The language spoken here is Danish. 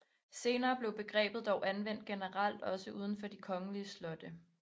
Senere blev begrebet dog anvendt generelt også uden for de kongelige slotte